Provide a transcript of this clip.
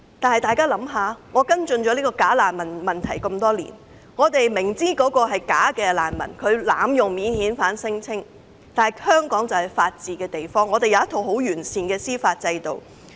我多年來跟進假難民問題，我們明知某人是假難民，濫用免遣返聲請，但香港是法治社會，有一套十分完善的司法制度。